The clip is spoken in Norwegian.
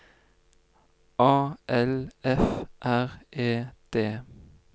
A L F R E D